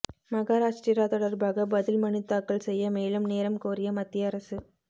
மகாராஷ்டிரா தொடர்பாக பதில் மனு தாக்கல் செய்ய மேலும் நேரம் கோரிய மத்திய அரசு